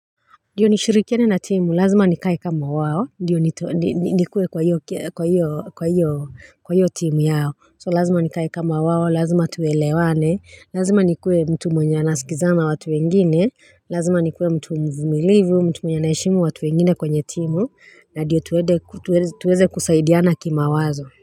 Ndiyo nishirikiane na timu, lazima nikae kama wao, ndiyo nikuwe kwa hiyo kwa hiyo timu yao, so lazima nikae kama wao, lazima tuelewane, lazima nikuwe mtu mwenye anasikizana na watu wengine, lazima nikuwe mtu mvumilivu, mtu mwenye anaheshimu watu wengine kwenye timu, na ndiyo tuweze kusaidiana kimawazo.